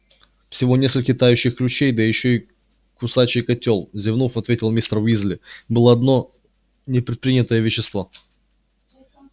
всего несколько тающих ключей да ещё кусачий котёл зевнув ответил мистер уизли было одно непредпринятое вещество